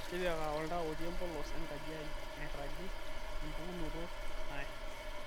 tipika oltaa otii empolos enkaji ai nairagi empukunoto nae